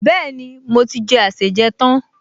Bẹ́ẹ̀ni, mo ti jẹ àsèjẹ tán